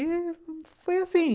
E foi assim